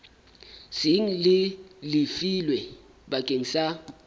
seng le lefilwe bakeng sa